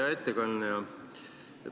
Hea ettekandja!